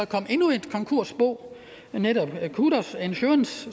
kom endnu et konkursbo qudos insurance